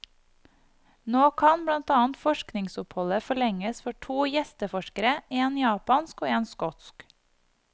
Nå kan, blant annet, forskningsoppholdet forlenges for to gjesteforskere, en japansk og en skotsk.